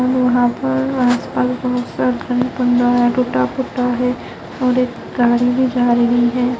वहां पर आसपास बहुत सब टूटा फूटा है और एक गाडी भी जा रही है।